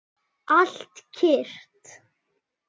Allt kyrrt.